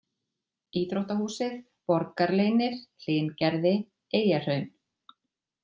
Íþróttahúsið, Borgarleynir, Hlyngerði, Eyjahraun